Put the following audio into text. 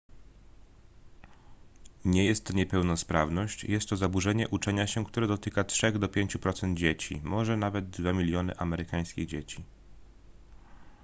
nie jest to niepełnosprawność jest to zaburzenie uczenia się które dotyka od 3 do 5 procent dzieci może nawet 2 miliony amerykańskich dzieci